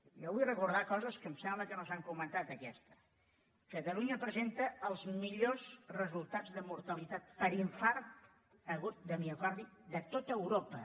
jo vull recordar coses que em sembla que no s’han comentat aquesta catalunya presenta els millors resultats de mortalitat per infart agut de miocardi de tot europa